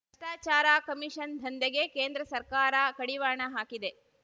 ಭ್ರಷ್ಟಾಚಾರ ಕಮಿಷನ್ ದಂಧೆಗೆ ಕೇಂದ್ರ ಸರ್ಕಾರ ಕಡಿವಾಣ ಹಾಕಿದೆ